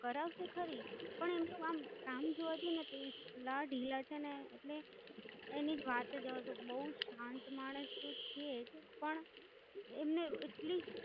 કરાવશે ખરી, પણ એમ તો આમ કામ જોવા જઈને તો એટલા ઢીલા છેને એટલે એની વાત જ જવા દો બોવ શાંત માણસો છે જ. પણ એમને એટલી